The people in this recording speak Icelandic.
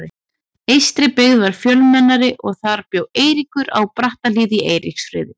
Eystribyggð var fjölmennari og þar bjó Eiríkur, á Brattahlíð í Eiríksfirði.